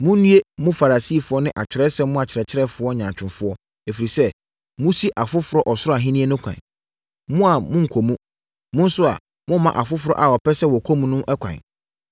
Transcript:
“Monnue! Mo Farisifoɔ ne Atwerɛsɛm no akyerɛkyerɛfoɔ nyaatwomfoɔ, ɛfiri sɛ, mosi afoforɔ Ɔsoro Ahennie ho ɛkwan. Mo a, monkɔ mu. Mo nso a, momma afoforɔ a wɔpɛ sɛ wɔkɔ mu no ɛkwan.